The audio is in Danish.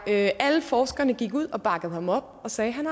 lavet alle forskerne gik ud og bakkede ham op og sagde at han